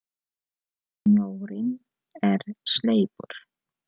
Snjórinn er sleipur!